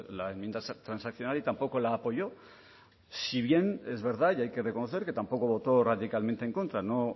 la enmienda transaccional y tampoco la apoyó si bien es verdad y hay que reconocer que tampoco votó radicalmente en contra no